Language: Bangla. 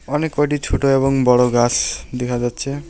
অনেককয়টি ছোট এবং বড় গাস দেখা যাচ্ছে।